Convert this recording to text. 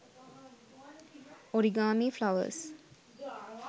origami flowers